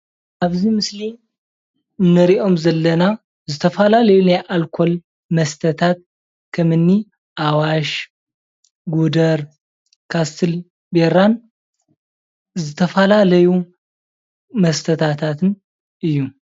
ኣብዚ ምስሊ እንርእዮም ዘለና ዝተፈላለዩ ላናይ ኣልኮል መስተታት ከምኒ ኣዋሽ፣ ጉደር፣ ካስትል ቢራን ዝተፈላለዩ መስታታትን እዩ።